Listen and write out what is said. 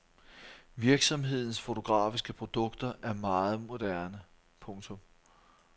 Virksomhedens fotografiske produkter er meget moderne. punktum